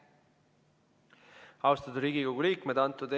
Austatud Riigikogu liikmed!